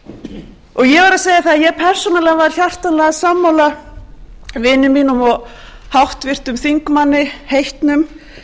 verð að segja það að ég persónulega var hjartanlega sammála vini mínum og háttvirtur þingmaður heitnum